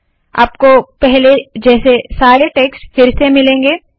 आपको पहले जैसे सारे टेक्स्ट फिर से मिलेगा